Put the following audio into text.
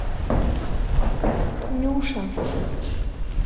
нюша